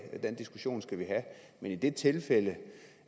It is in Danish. og den diskussion skal vi have men i det tilfælde